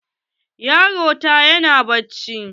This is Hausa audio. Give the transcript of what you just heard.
Yaron ta yana bacci.